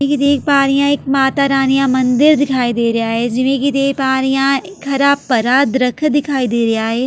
ਜਿਵੇਂ ਕਿ ਦੇਖ ਪਾ ਰਹੀ ਹਾਂ ਇੱਕ ਮਾਤਾ ਰਾਣੀ ਦਾ ਮੰਦਿਰ ਦਿਖਾਈ ਦੇ ਰਿਹਾ ਏ ਜਿਵੇਂ ਕਿ ਦੇਖ ਪਾ ਰਹੀ ਹਾਂ ਇੱਕ ਹਰਾ ਭਰਾ ਦਰਖਤ ਦਿਖਾਈ ਦੇ ਰਿਹਾ ਏ।